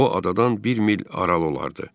O adadan bir mil aralı olardı.